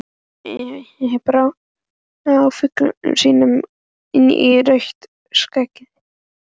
Sveinn Óli brá flautunni sinni inn í rautt skeggið.